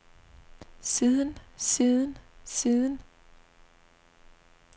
siden siden siden